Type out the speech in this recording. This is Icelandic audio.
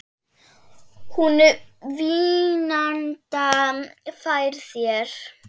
Hún vínanda færir þér.